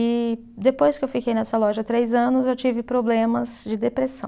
E depois que eu fiquei nessa loja três anos eu tive problemas de depressão.